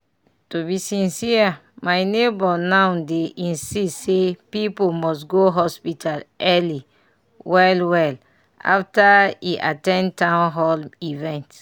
to be sincere my neighbor now dey insist say people must go hospital early well well after e at ten d town hall event.